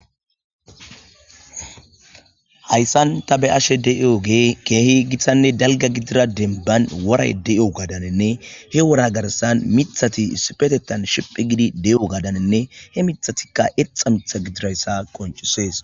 Hayssan ta be'ashe de'io ge keehi githanne dalga gidira denban woray de'o gadanenne he wora garsan mithati isipetetan shiphe gidi de'o gadanenne he mithatikka exa mitha gidirayssa qonchisees.